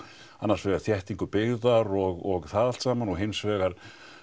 annars vegar þéttingu byggðar og það allt saman og hins vegar